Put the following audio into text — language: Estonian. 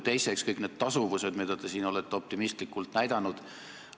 Teiseks, kõik need tasuvused, mida te siin olete optimistlikult näidanud.